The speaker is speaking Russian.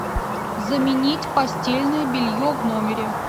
заменить постельное белье в номере